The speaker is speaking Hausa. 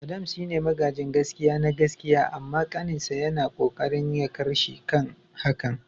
Adams shine magajin gaskia na gaskiya amma kaninsa yana kokarin yakarshi akan hakan.